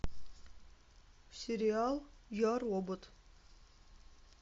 сериал я робот